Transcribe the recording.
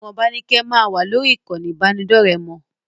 Ìwọ̀nba ni kẹ́ ẹ máa wà lórí ìkànnì ìbánidọ́ọ̀rẹ́ mọ!